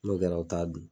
N'o kɛra u t'a dun